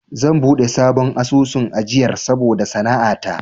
Zan buɗe sabon asusun ajiyar saboda sana'a ta.